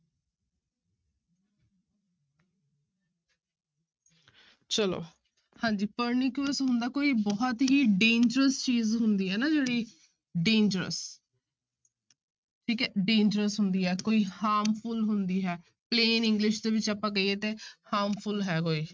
ਚਲੋ ਹਾਂਜੀ pernicious ਹੁੰਦਾ ਕੋਈ ਬਹੁਤ ਹੀ dangerous ਚੀਜ਼ ਹੁੰਦੀ ਹੈ ਨਾ ਜਿਹੜੀ dangerous ਠੀਕ ਹੈ dangerous ਹੁੰਦੀ ਹੈ ਕੋਈ harmful ਹੁੰਦੀ ਹੈ plan english ਦੇ ਵਿੱਚ ਆਪਾਂ ਕਹੀਏ ਤੇ harmful ਹੈ ਕੋਈ।